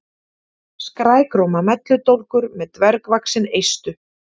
Skrækróma melludólgur með dvergvaxin eistu.